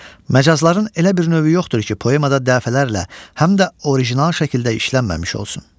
Məcazların elə bir növü yoxdur ki, poemada dəfələrlə, həm də orijinal şəkildə işlənməmiş olsun.